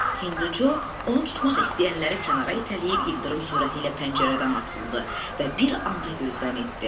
Hinduçu onu tutmaq istəyənləri kənara itələyib ildırım sürətilə pəncərədən atıldı və bir anda gözdən itdİ.